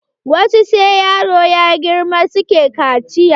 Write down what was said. Wasu sai yaro ya girma suke kaciya.